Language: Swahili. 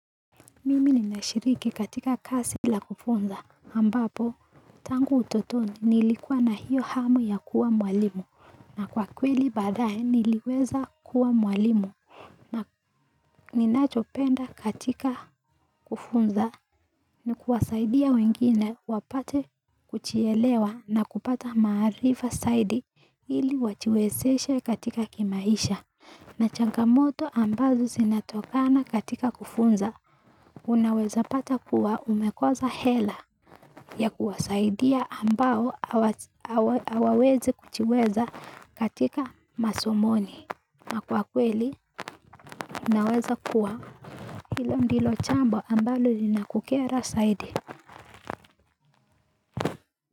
Mimi ninashiriki katika kazi la kufunza ambapo tangu utotoni nilikuwa na hiyo hamu ya kuwa mwalimu na kwa kweli badaye niliweza kuwa mwalimu na ninachopenda katika kufunza ni kuwasaidia wengine wapate kujielewa na kupata maarifa zaidi ili wajiwezeshe katika kimaisha. Na changamoto ambazo zinatokana katika kufunza, unaweza pata kuwa umekosa hela ya kuwasaidia ambao hawawezi kujiweza katika masomoni. Na kwa kweli, unaweza kuwa hilo ndilo jambo ambalo linakukera zaidi.